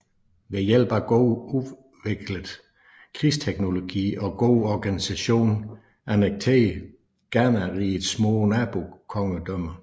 Ved hjælp af godt udviklet krigsteknologi og god organisation annekterede Ghanariget små nabokongedømmer